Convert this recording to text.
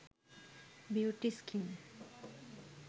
beauty skin